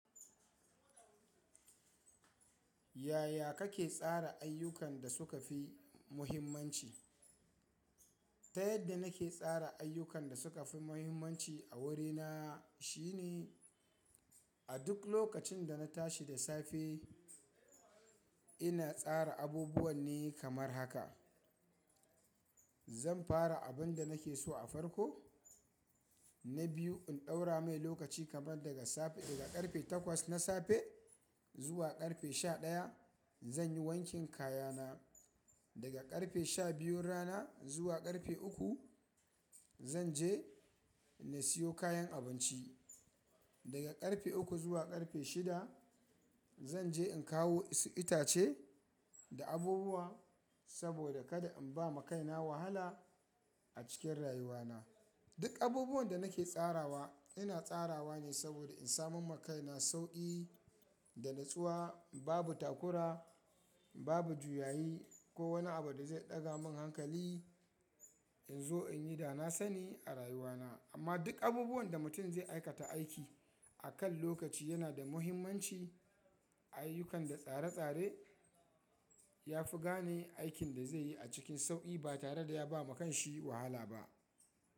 Yaya kake tsara ayyukan da suka fi muhimmanci? Ta yadda nake tsara ayyukan da suka fi muhimmanci a wurina shine, a duk lokacin da na tashi da safe ina tsara abubuwan ne kamar haka. Zan fara abun da nake so a farko. Na biyu, in ɗaura mai lokaci kamar daga safe, daga ƙarfe takwas na safe zuwa ƙarfe sha ɗaya, zan yi wankin kayana. Daga ƙarfe sha biyun rana zuwa ƙarfe uku, zan je na siyo kayan abinci. Daga ƙarfe uku zuwa ƙarfe shida, zan je in kawo wasu itace da abubuwa saboda kada in ba makaina wahala a cikin rayuwana. Duk abubuwan da nake tsarawa, ina tsarawa ne saboda in samu makaina sauƙi da natsuwa, babu takura, babu juyayi ko wani abu da zai ɗaga min hankali in zo in yi da na sani a rayuwana. Amma duk abubuwan da mutum zai aikata aiki akan lokaci yana da muhimmanci. Ayyukan da tsare-tsare ya fi gane aikin da zai yi a cikin sauƙi ba tare da ya ba ma kanshi wahala ba.